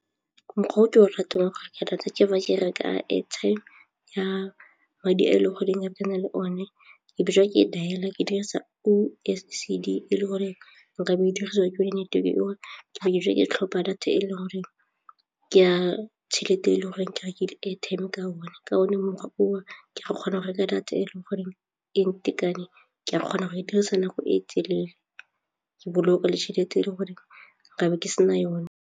Mokgwa o ke o ratang ke reka data ke fa ke reka airtime ya madi e e leng goreng ke na le one ke ke e dialer ke dirisa oh S_E_C_D e le goreng nka bo e diriwa ke dineteweke o ke tlhopha data e leng goreng ke a tšhelete e le goreng ke rekile airtime ka one ka one mokgwa oo ke ka kgona go reka data e le goreng e ntekane ke a kgona go e dirisa nako e telele ke boloka le tšhelete e le gore nkabe ke sena yone.